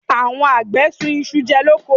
Àwọn àgbẹ̀ sun isu jẹ lóko.